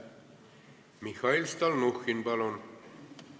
Mihhail Stalnuhhin, palun!